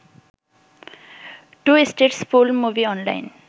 2 states full movie online